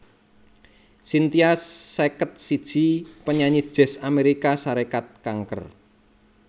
Cynthia seket siji panyanyi Jazz Amérika Sarékat kanker